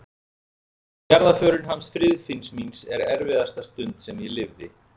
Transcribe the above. Jarðarförin hans Friðfinns míns er erfiðasta stund sem ég lifði.